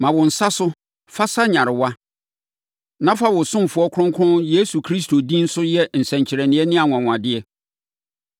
Ma wo nsa so fa sa nyarewa, na fa wo ɔsomfoɔ Kronkron Yesu Kristo din so yɛ nsɛnkyerɛnneɛ ne anwanwadeɛ.”